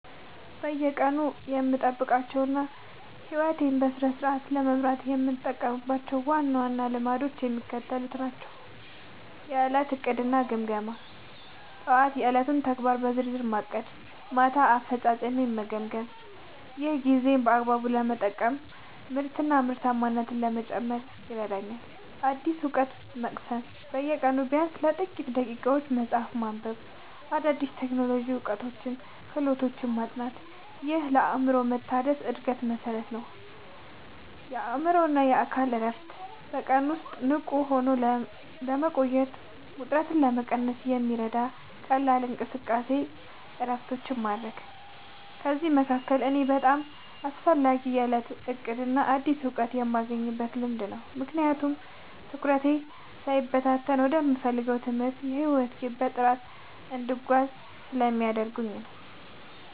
በየቀኑ የምጠብቃቸውና ሕይወቴን በስርዓት ለመምራት የምጠቀምባቸው ዋና ዋና ልማዶች የሚከተሉት ናቸው፦ የዕለት ዕቅድና ግምገማ፦ ጠዋት የዕለቱን ተግባራት በዝርዝር ማቀድና ማታ አፈጻጸሜን መገምገም። ይህ ጊዜን በአግባቡ ለመጠቀምና ምርታማነትን ለመጨመር ይረዳኛል። አዲስ እውቀት መቅሰም፦ በየቀኑ ቢያንስ ለጥቂት ደቂቃዎች መጽሐፍ ማንበብ፣ አዳዲስ የቴክኖሎጂ እውቀቶችንና ክህሎቶችን ማጥናት። ይህ ለአእምሮ መታደስና ለዕድገት መሠረት ነው። የአእምሮና አካል እረፍት፦ በቀን ውስጥ ንቁ ሆኖ ለመቆየትና ውጥረትን ለመቀነስ የሚረዱ ቀላል እንቅስቃሴዎችንና እረፍቶችን ማድረግ። ከእነዚህ መካከል ለእኔ በጣም አስፈላጊው የዕለት ዕቅድና አዲስ እውቀት የማግኘት ልማድ ነው፤ ምክንያቱም ትኩረቴ ሳይበታተን ወደምፈልገው የትምህርትና የሕይወት ግብ በጥራት እንድጓዝ ስለሚያደርጉኝ።